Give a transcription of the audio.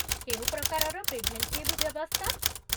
କେଉଁ ପ୍ରକାରର ପ୍ରିଭେଣ୍ଟିଭ୍ ବ୍ୟବସ୍ଥା?